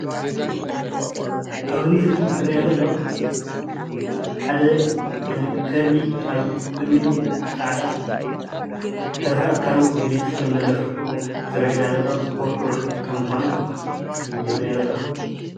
እዚ ኣብ ምስሊ ዝረአየና ዘሎ ሓደ ከልቢ ኣብ ቅድሚቱ ፃዕዳ ዝተረፈ ኣካላቱ ፅልም ዝበለ ዝረአየና ዘሎ ኩርኩር ከም ዝኮነ እዩ ዘርእየና ዘሎ፡፡